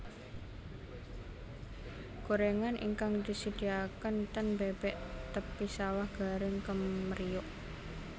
Gorengan ingkang disediaken ten Bebek Tepi Sawah garing kemriyuk